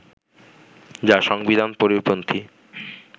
যা সংবিধান পরিপন্থী